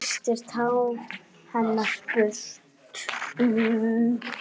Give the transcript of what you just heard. Hann kyssir tár hennar burtu.